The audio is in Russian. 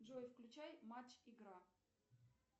джой включай матч игра